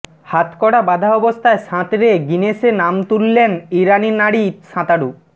হাতকড়া বাধা অবস্থায় সাঁতরে গিনেস বুকে নাম তুললেন ইরানি নারী সাঁতারু